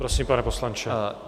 Prosím, pane poslanče.